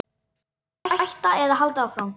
Hætta eða halda áfram?